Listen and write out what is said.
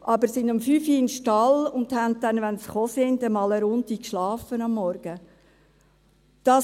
Aber sie gingen um 5 Uhr in den Stall, und dann, wenn sie kamen, schliefen sie am Morgen erst einmal eine Runde.